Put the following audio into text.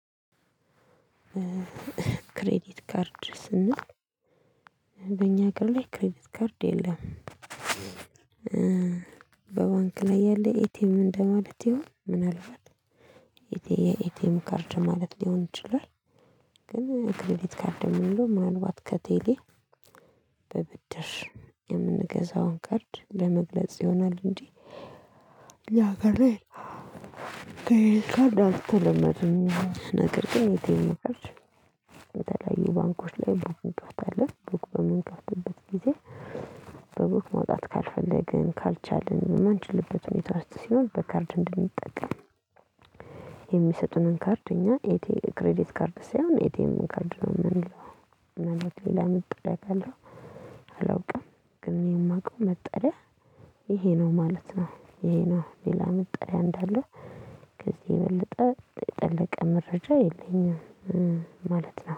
ክሬዲት ካርድ ስንል በእኛ ሀገር ላይ ክሬዲት ካርድ የለም። በባንክ ላይ ያለ ኤ ቲ ኤም እንደማለት ይሆን? ምን አልባት? የ ኤ ቲ ኤም ካርድ ማለት ሊሆን ይችላል። ግን ክሬዲት ካርድ የምንለው ምናልባት ከቴሌ በብድር የምንገዛውን ካርድ ለመግለጽ ይሆናል እንጂ፤ እኛ ሀገር ላይ ክሬዲት ካርድ አልተለመደም። ነገር ግን ኤ ቲ ኤም ካርድ የተለያዩ ባንኮች ላይ ቡክ እንከፍታለን፤ ቡክ በምንጠፍቅበት ጊዜ በቡክ ማውጣት ካልፈለግን፣ ካልቻልን፣ የማንችልበት ሁኔታ ውስጥ ሲሆን በካርድ እንድንጠቀም የሚሰጡንን ካርድ እኛ ኤቲ ክሬዲት ካርድ ሳይሆን ኤቲኤም ካርድ ነው የምንለው። ምናልባት ሌላ መጠሪያ ካለው አላውቅም። ግን የማውቀው መጠሪያ ይሄ ነው ማለት ነው ይሄ ነው። ሌላ መጠሪያ እንዳለው ከዚህ የበለጠ የጠለቀ መረጃ የለኝም ማለት ነው።